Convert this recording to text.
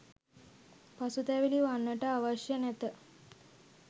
පසුතැවිලි වන්නට අවශ්‍ය නැත.